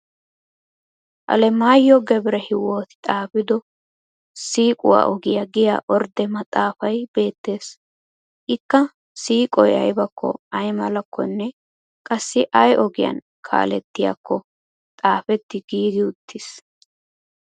Alemaayehhi gebrehiywooti xaafido shiiquwaa ogiya giya ordde maxxaafay beettes. Ikka siiqoy aybakko aymalakkonne qassi ay ogiyaa kaalettiyaakko xaafetti giigi uttis.